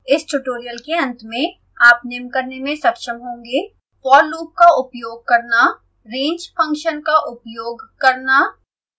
इस ट्यूटोरियल के अंत में आप निम्न करने में सक्षम होंगेः